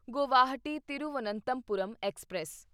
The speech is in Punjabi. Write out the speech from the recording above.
ਗੁਵਾਹਾਟੀ ਤਿਰੂਵਨੰਤਪੁਰਮ ਐਕਸਪ੍ਰੈਸ